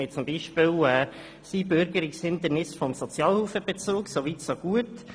Wir haben beispielsweise das Einbürgerungshindernis des Sozialhilfebezugs – soweit so gut.